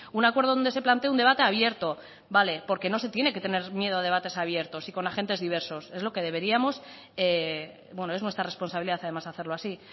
un acuerdo donde se plantee un debate abierto porque no se tiene que tener miedo a debates abiertos y con agentes diversos es nuestra responsabilidad además hacerlo así